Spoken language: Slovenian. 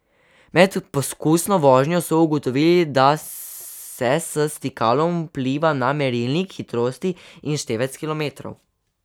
Med poskusno vožnjo so ugotovili, da se s stikalom vpliva na merilnik hitrosti in števec kilometrov.